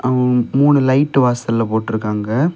அம்ம் மூணு லைட்டு வாசல்ல போட்டுருக்காங்க.